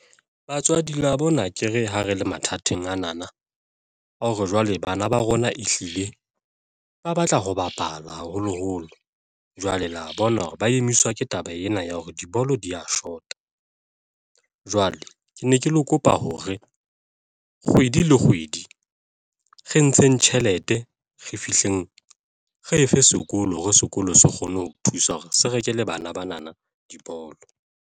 Batswadi la bona akere ha re le mathateng. ana na a hore jwale bana ba rona, ehlile ba batla ho bapala, haholoholo jwale la bona hore ba emiswa ke taba ena ya hore dibolo di ya shota. jwale ke ne ke kopa hore kgwedi le kgwedi re ntsheng tjhelete re fihleng re efe sekolo hore sekolo se kgone ho thusa hore se rekele bana bana dibolo.